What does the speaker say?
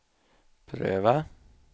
pröva